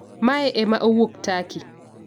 Mae ema owuok Turkey